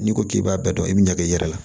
N'i ko k'i b'a bɛɛ dɔn i bɛ ɲag'i yɛrɛ la